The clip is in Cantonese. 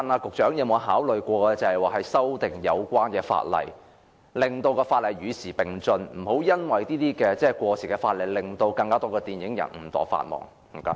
局長有否考慮修訂法例，使相關法例與時並進，以免過時法例令更多電影人誤墮法網？